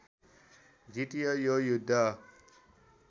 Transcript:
जितियो यो युद्ध